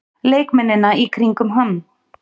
Leikmennina í kringum hann?